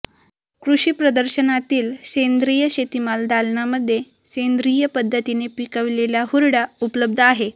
कृषी प्रदर्शनातील सेंद्रिय शेतीमाल दालनामध्ये सेंद्रिय पद्धतीने पिकविलेला हुरडा उपलब्ध आहे